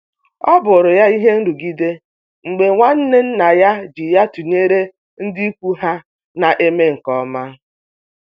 ọbụrụ ya ihe nrugide mgbe nwanne nna ya ji ya tụnyere ndị ikwu ha na-eme nke ọma.